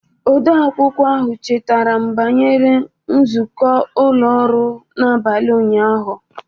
Odeakwụkwọ ahụ chetaram banyere nzukọ ụlọ ọrụ n'abalị ụnyaahụ.